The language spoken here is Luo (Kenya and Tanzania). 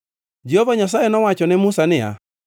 Jehova Nyasaye nowacho ne Musa niya,